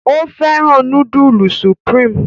O féràn nudulu Supreme